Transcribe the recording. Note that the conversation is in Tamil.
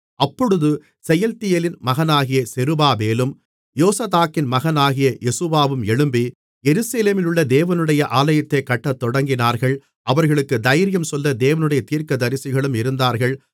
அப்பொழுது செயல்தியேலின் மகனாகிய செருபாபேலும் யோசதாக்கின் மகனாகிய யெசுவாவும் எழும்பி எருசலேமிலுள்ள தேவனுடைய ஆலயத்தைக் கட்டத்தொடங்கினார்கள் அவர்களுக்கு தைரியம் சொல்ல தேவனுடைய தீர்க்கதரிசிகளும் இருந்தார்கள்